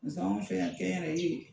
An fɛ yan kɛnyɛrɛ ye